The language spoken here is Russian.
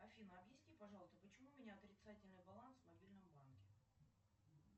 афина объясни пожалуйста почему у меня отрицательный баланс в мобильном банке